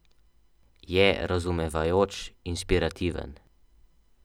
Je razumevajoč, inspirativen.